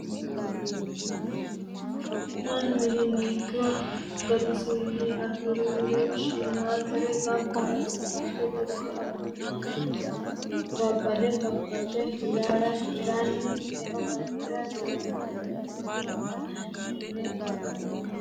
Mannu mininni ikko gatisinni afirire shiimadare gamba asse adhe dikko abbe babbade faface hiranni eo afirano doogo daddalutta tene baxoommo.